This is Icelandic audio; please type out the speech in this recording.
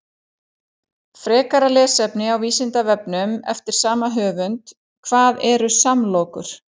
Frekara lesefni á Vísindavefnum eftir sama höfund: Hvað eru samlokur?